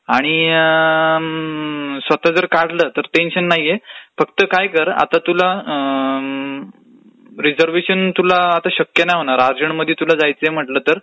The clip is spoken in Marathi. आणि अम्म स्वतः जर काढलं तर टेन्शन नाहीये, फक्त काय कर आता तुला रिझर्वेशन आता तुला शक्य नाही होणार अर्जंटमध्ये तुला जायचयं म्हटलं तर, तातकाळचं एक चांगलं ऑप्शन आहे तुझ्यासाठी,